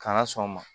K'an ka sɔn o ma